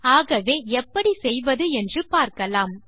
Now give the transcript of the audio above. ஆகவே எப்படி செய்வது என்று பார்க்கலாம்